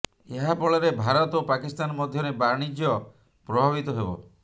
ଏହାଫଳରେ ଭାରତ ଓ ପାକିସ୍ତାନ ମଧ୍ୟରେ ବାଣିଜ୍ୟ ପ୍ରଭାବିତ ହେବ